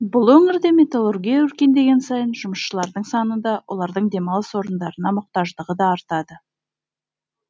бұл өңірде металлургия өркендеген сайын жұмысшылардың саны да олардың демалыс орындарына мұқтаждығы да артады